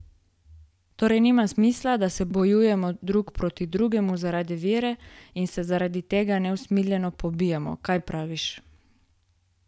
Torej nima smisla, da se bojujemo drug proti drugemu zaradi vere in se zaradi tega neusmiljeno pobijamo, kaj praviš?